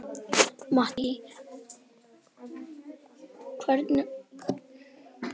Mattý, einhvern tímann þarf allt að taka enda.